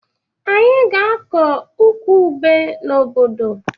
Anyị ga-akọ ukwu ube n'obodo